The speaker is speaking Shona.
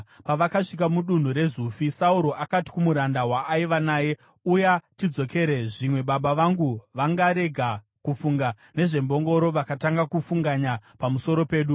Pavakasvika mudunhu reZufi, Sauro akati kumuranda waaiva naye, “Uya tidzokere, zvimwe baba vangu vangarega kufunga nezvembongoro vakatanga kufunganya pamusoro pedu.”